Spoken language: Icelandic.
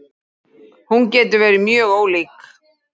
Hún getur verið mjög ólík.